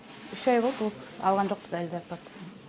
үш ай болды осы алған жоқпыз әлі зарплата